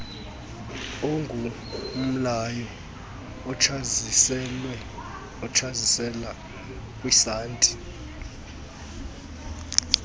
onqumlayo otsazisela kwisanti